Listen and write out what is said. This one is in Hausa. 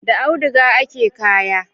Da auduga ake kaya.